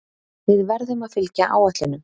Við verðum að fylgja áætlunum